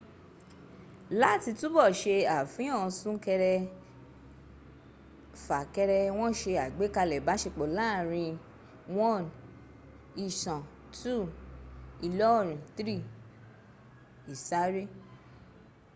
láti tubọ̀ ṣe àfihàn suńkẹrẹ-fàkẹrẹ wọ́n ṣe àgbékalẹ̀ ìbáṣepọ̀ láàáriń 1 ìsàn 2 ìlóòrin 3 ìsáre